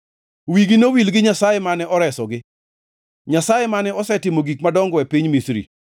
Wigi nowil gi Nyasaye mane oresogi, Nyasaye mane osetimo gik madongo e piny Misri,